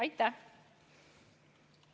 Aitäh!